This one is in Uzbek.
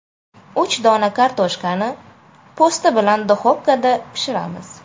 Uch dona kartoshkani po‘sti bilan duxovkada pishiramiz.